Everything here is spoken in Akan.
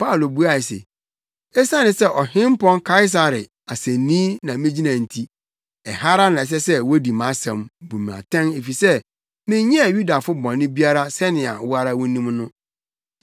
Paulo buae se, “Esiane sɛ Ɔhempɔn Kaesare asennii na migyina nti, ɛha ara na ɛsɛ sɛ wodi mʼasɛm, bu me atɛn efisɛ menyɛɛ Yudafo bɔne biara sɛnea wo ara wunim no.